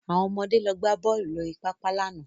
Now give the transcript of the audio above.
Àwọn ọmọde lọ gbá bọ́ọ̀lù lórí pápá lánàá